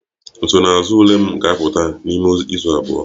Nsonaazụ ule m ga-apụta n'ime izu abụọ